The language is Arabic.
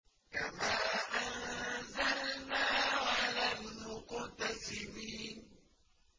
كَمَا أَنزَلْنَا عَلَى الْمُقْتَسِمِينَ